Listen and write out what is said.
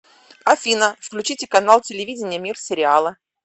афина включите канал телевидения мир сериала